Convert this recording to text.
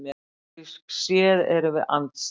Pólitískt séð erum við andstæðingar